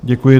Děkuji.